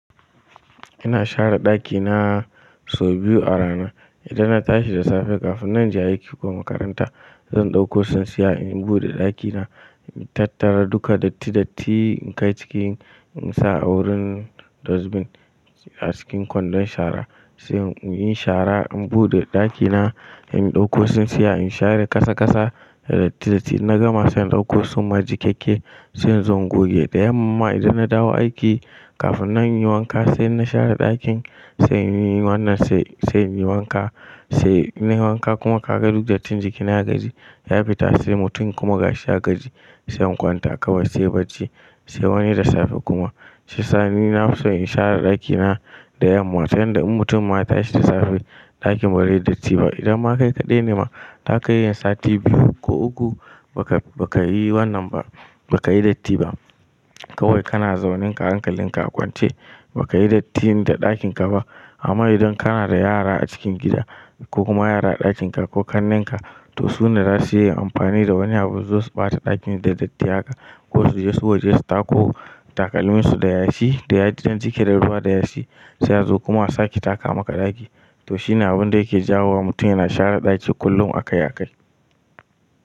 Ina share daki na sau biyu a rana. Idan na tashi da safe kafin nan in je aiki ko makaranta, zan dauko tsintsiya in bude dakina, in tattara duka datti datti in kai cikin, in sa a wurin dustbin a cikin kwandon shara. Sai in yi shara, in bude dakina, in dauko tsintsiya in share kasa kasa, da datti datti. Na gama sai in dauko suma jikeke, sai in zo goge. Da yamma idan na dawo aiki, kafin nan in yi wanka sai na share dakin, sai in yi wannan, sai, sai in yi wanka. Sai in na yi wanka kuma ka ga duk dattin jikina gaji, ya fita sai mutum kuma gashi ya gaji. Sai in kwanta, kawia sai bacci. Sai wani da safe kuma. Shi ya sa ni na fi so in share daki na da yamma, ta yanda in mutum ma ya tashi da safe, dakin barai datti ba. Idan ma kai kadai nema, za kayi yin sati biyu ko uku, ba ka, ba ka yi wannan ba, ba ka yi datti ba. Kawai kana zaunen, ka hankalin ka a kwance. Ba ka yi dattin da ɗakin ka ba. Amma idan kana da yara a cikin gida ko kuma yara a dakin ka ko kannen ka, to su ne za su iya amfani da wani abu su zo su ɓata ɗakin da datti haƙa ko su je su waje su tako takalminsu da yashi, da yaji dan jiki da ruwa da yashi. Sai a zo kuma a sake taka maka daki. To shine abun da yake jawo wa mutum yana share daki kullum akai akai.